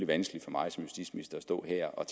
vanskeligt for mig som justitsminister at stå her og